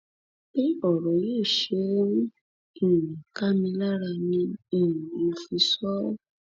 bí ọrọ yìí ṣe ń um ká mi lára ni um mo fi sọ ọ